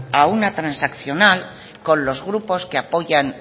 a una transaccional con los grupos que apoyan